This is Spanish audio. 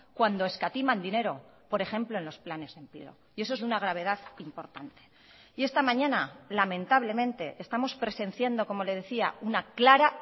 cuando escatiman dinero por ejemplo en los planes de empleo y eso es de una gravedad importante y esta mañana lamentablemente estamos presenciando como le decía una clara